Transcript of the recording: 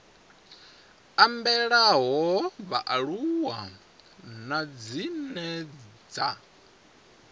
ambelaho vhaaluwa nahone dzine dza